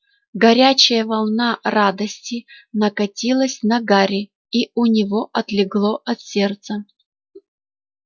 горячая волна радости накатилась на гарри и у него отлегло от сердца